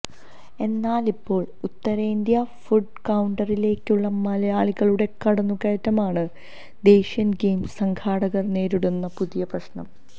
എന്നാലിപ്പോള് ഉത്തരേന്ത്യന് ഫുഡ് കൌണ്ടറിലേക്കുള്ള മലയാളികളുടെ കടന്നു കയറ്റമാണ് ദേശീയ ഗെയിംസ് സംഘാടകര് നേരിടുന്ന പുതിയ പ്രശ്നം